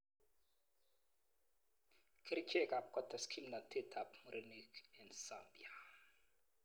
Kerichekab kotes kimnatetab murenik eng Zambia.